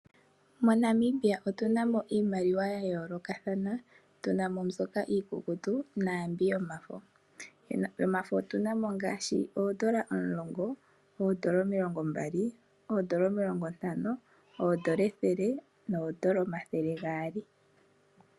MoNamibia otunamo iimaliwa ya yoolokathana, tu na mo mbyoka iikukutu naambyoka yomafo. Yomafo otu na mo ngaashi oondola omulongo, oondola omilongombali, oondola omilongo ntano, oondola ethele noondola omathele gaali.